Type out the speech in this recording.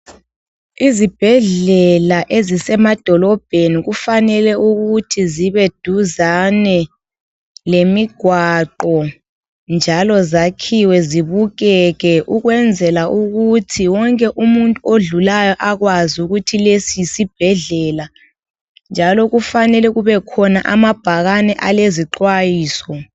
Izibhedlela ezisemadolobheni kufanele ukuthi zibeduzane lemigwaqo, njalo zakhiwe zibukeke Ukwenzela ukuthi wonke umuntu odlulayo, abekwazi ukuthi lesi yisibhedlela, njalo kufanele kubekhona amabhakane alezixwayiso.